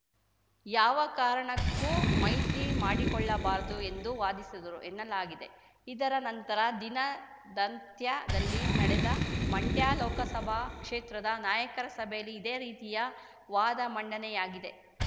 ಯಾವ ಕಾರಣಕ್ಕೂ ಮೈತ್ರಿ ಮಾಡಿಕೊಳ್ಳಬಾರದು ಎಂದು ವಾದಿಸಿದರು ಎನ್ನಲಾಗಿದೆ ಇದರ ನಂತರ ದಿನದಂತ್ಯದಲ್ಲಿ ನಡೆದ ಮಂಡ್ಯ ಲೋಕಸಭಾ ಕ್ಷೇತ್ರದ ನಾಯಕರ ಸಭೆಯಲಿ ಇದೇ ರೀತಿಯ ವಾದ ಮಂಡನೆಯಾಗಿದೆ